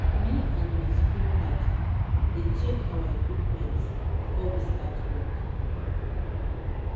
me and my spray padi dey check our equipment before we start work.